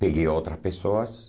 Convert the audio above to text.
Peguei outras pessoas.